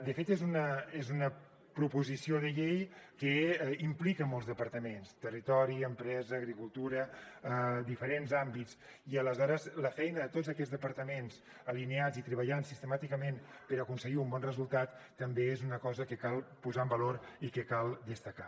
de fet és una proposició de llei que implica molts departaments territori empresa agricultura diferents àmbits i aleshores la feina de tots aquests departaments alineats i treballant sistemàticament per aconseguir un bon resultat també és una cosa que cal posar en valor i que cal destacar